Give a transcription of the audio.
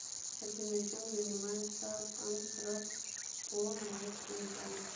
афина чем занимается антропометрия